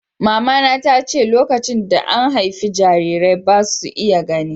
Mamana ta ce "Lokacin da an haifi jarirai, ba' su iya gani."